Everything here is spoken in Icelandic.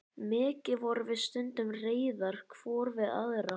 Mikið vorum við stundum reiðar hvor við aðra.